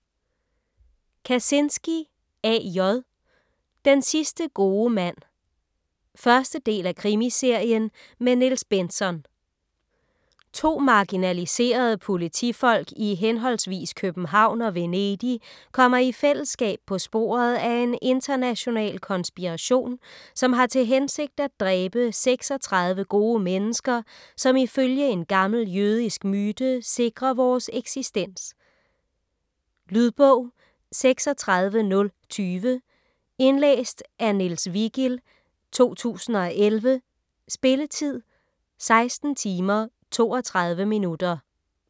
Kazinski, A. J.: Den sidste gode mand 1. del af Krimiserien med Niels Bentzon. To marginaliserede politifolk i hhv. København og Venedig kommer i fællesskab på sporet af en international konspiration, som har til hensigt at dræbe 36 gode mennesker, som ifølge en gammel jødisk myte sikrer vores eksistens. Lydbog 36020 Indlæst af Niels Vigild, 2011. Spilletid: 16 timer, 32 minutter.